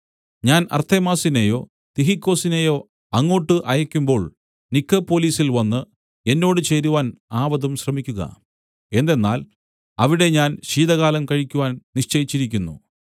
ഞാൻ അർത്തെമാസിനെയോ തിഹിക്കൊസിനേയോ അങ്ങോട്ട് അയയ്ക്കുമ്പോൾ നിക്കൊപ്പൊലിസിൽ വന്ന് എന്നോട് ചേരുവാൻ ആവതും ശ്രമിക്കുക എന്തെന്നാൽ അവിടെ ഞാൻ ശീതകാലം കഴിക്കുവാൻ നിശ്ചയിച്ചിരിയ്ക്കുന്നു